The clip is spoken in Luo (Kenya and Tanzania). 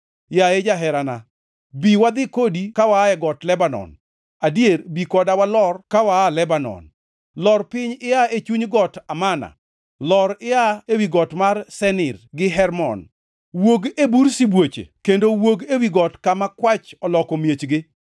Yaye jaherana, bi wadhi kodi ka waa e got Lebanon, adier bi koda walor ka waa Lebanon. Lor piny ia e chuny got Amana, lor ia ewi got mar Senir gi Hermon, wuog e bur sibuoche kendo wuog ewi got kama kwach oloko miechgi.